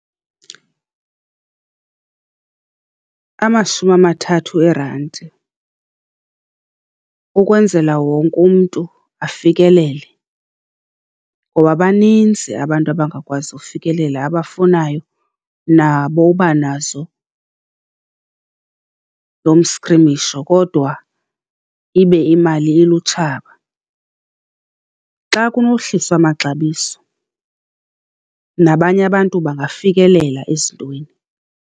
Amashumi amathathu eerandi ukwenzela wonke umntu afikelele ngoba baninzi abantu abangakwazi ufikelela abafunayo nabo ubanazo lo mstrimisho, kodwa ibe imali ilutshaba. Xa kunowuhliswa amaxabiso nabanye abantu bangafikelela ezintweni.